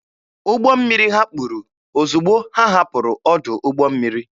Ụgbọ mmiri ha kpuru ozugbo ha hapụrụ ọdụ ụgbọ mmiri.